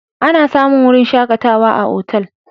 Ana samun wurin shakatawa a otal.